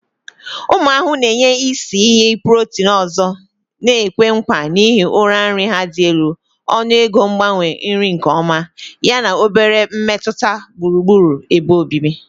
Ụmụ ahụhụ na-enye isi iyi protein ọzọ na-ekwe nkwa n'ihi uru nri ha dị elu, ọnụego mgbanwe nri nke ọma, yana obere mmetụta gburugburu ebe obibi.